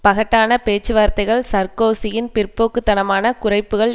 பகட்டான பேச்சுவார்த்தைகள் சார்க்கோசியின் பிற்போக்கு தனமான குறைப்புக்கள்